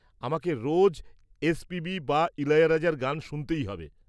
আমাকে রোজ এসপিবি বা ইলায়ারাজার গান শুনতেই হবে।